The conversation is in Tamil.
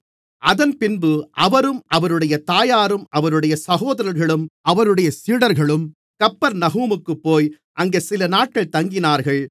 அதன்பின்பு அவரும் அவருடைய தாயாரும் அவருடைய சகோதரர்களும் அவருடைய சீடர்களும் கப்பர்நகூமுக்குப்போய் அங்கே சிலநாட்கள் தங்கினார்கள்